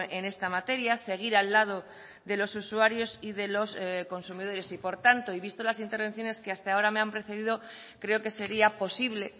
en esta materia seguir al lado de los usuarios y de los consumidores y por tanto y visto las intervenciones que hasta ahora me han precedido creo que sería posible